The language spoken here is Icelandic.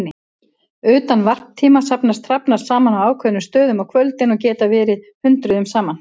Utan varptíma safnast hrafnar saman á ákveðnum stöðum á kvöldin og geta verið hundruðum saman.